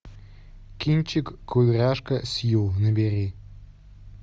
кинчик кудряшка сью набери